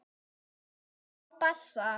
Á bassa.